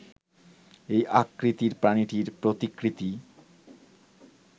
এই আকৃতির প্রাণীটির প্রতিকৃতি